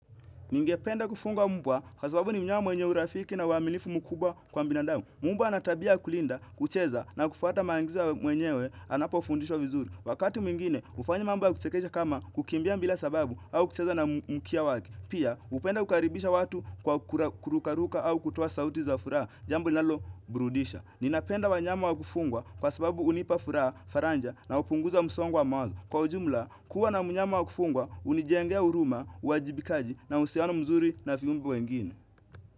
Ningependa kufunga mbwa kwa sababu ni mnyama mwenye urafiki na uaminifu mkubwa kwa mbinadau. Mbwa ana tabia ya kulinda, kucheza na kufuata maangizo mwenyewe anapofundishwa vizuri. Wakati mwingine, ufanya mambo ya kuchekesha kama kukimbia mbila sababu au kucheza na mkia waki. Pia, hupenda kukaribisha watu kwa kurukaruka au kutoa sauti za furaha, jambo inalo burudisha. Ninapenda wanyama wa kufungwa kwa sababu unipa furaha, faranja na upunguza msongo wa mawazo. Kwa ujumla, kuwa na mnyama wa kufungwa, unijengea uruma, uwajibikaji na uhusiano mzuri na viumbe wengine.